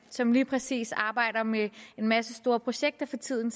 som lige præcis arbejder med en masse store projekter for tiden